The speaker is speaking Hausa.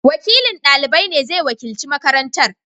Wakilin dalibai ne zai wakilci makarantar.